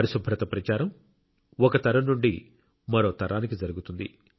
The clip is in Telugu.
పరిశుభ్రత ప్రచారం ఒక తరం నుండి మరో తరానికి జరుగుతుంది